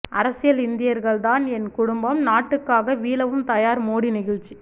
அரசியல் இந்தியர்கள்தான் என் குடும்பம் நாட்டுக்காக வீழவும் தயார் மோடி நெகிழ்ச்சி